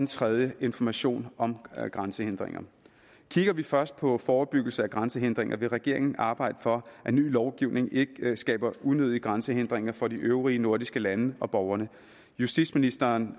tredje er information om grænsehindringer kigger vi først på forebyggelse af grænsehindringer vil regeringen arbejde for at ny lovgivning ikke skaber unødige grænsehindringer for de øvrige nordiske lande og borgerne justitsministeren